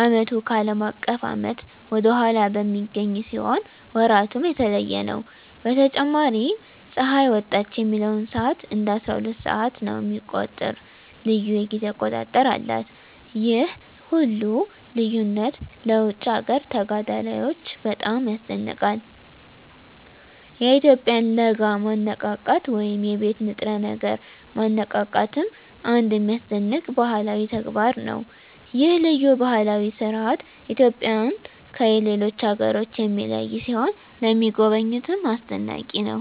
ዓመቱ ከአለም አቀፍ ዓመት ወደ ኋላ በሚገኝ ሲሆን ወራቱም የተለየ ነው። በተጨማሪም ፀሐይ ወጣች የሚለውን ሰዓት እንደ አስራሁለት ሰዓት የሚቆጥር ልዩ የጊዜ አቆጣጠር አላት። ይህ ሁሉ ልዩነት ለውጭ አገር ተጋዳላዮች በጣም ያስደንቃል። የኢትዮጵያውያን ለጋ ማነቃቃት ወይም የቤት ንጥረ ነገር ማነቃቃትም አንድ የሚያስደንቅ ባህላዊ ተግባር ነው። ይህ ልዩ ባህላዊ ሥርዓት ኢትዮጵያውያንን ከሌሎች አገሮች የሚለይ ሲሆን ለሚጎበኙትም አስደናቂ ነው።